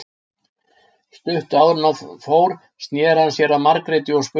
Stuttu áður en hann fór sneri hann sér að Margréti og spurði